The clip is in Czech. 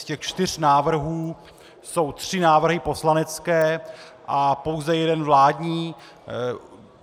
Z těch čtyř návrhů jsou tři návrhy poslanecké a pouze jeden vládní.